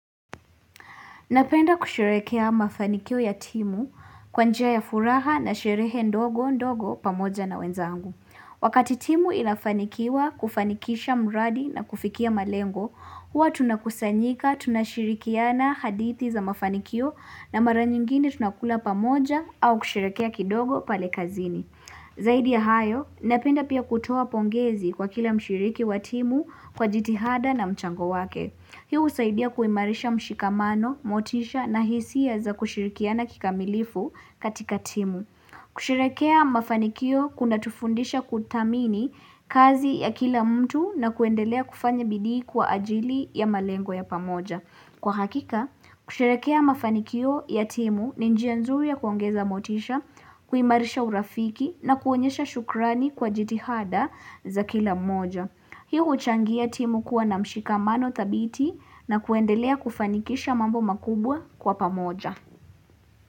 Napenda kusherehea mafanikio ya timu kwanjia ya furaha na shirehe ndogo ndogo pamoja na wenzangu. Wakati timu inafanikiwa kufanikisha mradi na kufikia malengo, huwa tunakusanyika, tunashirikiana hadithi za mafanikio na mara nyingine tunakula pamoja au kushirekea kidogo pale kazini. Zaidi ya hayo, napenda pia kutoa pongezi kwa kila mshiriki wa timu kwa jitihada na mchango wake. Hiu husaidia kuimarisha mshikamano, motisha na hisia za kushirikiana kika milifu katika timu. Kusherehekea mafanikio kuna tufundisha kutamini kazi ya kila mtu na kuendelea kufanya bidii kwa ajili ya malengo ya pamoja. Kwa hakika, kushimerehekea mafanikio ya timu ni njia nzuri ya kuongeza motisha, kuimarisha urafiki na kuonyesha shukrani kwa jitihada za kila moja. Hiu huchangia timu kuwa na mshikamano tabiti na kuendelea kufanikisha mambo makubwa kwa pamoja.